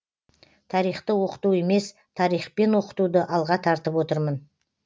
тарихты оқыту емес тарихпен оқытуды алға тартып отырмын